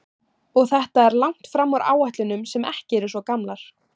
Og þetta er langt fram úr áætlunum sem ekki eru svo gamlar?